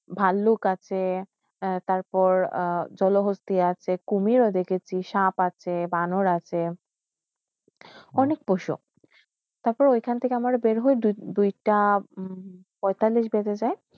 ভালুক আসে এ তারপর জলহস্তি আসে কুমির ও দেখেছি সাপ আসে বানর আসে অনেক পশু তারপরে ঐখানটিকে আমারও বেয়ার হইতে দুইটা পৈতালিশ বেজে যায়